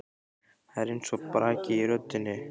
Það er eins og braki í röddinni.